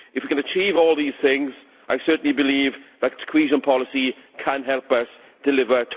If we can achieve all these things, I certainly believe that the Cohesion policy can help us deliver